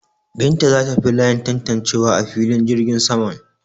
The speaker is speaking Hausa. Binta za ta bi layin tantancewa a filin jirgin saman.